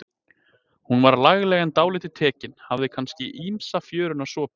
Hún var lagleg en dálítið tekin, hafði kannski ýmsa fjöruna sopið.